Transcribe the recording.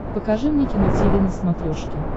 покажи мне кино тиви на смотрешке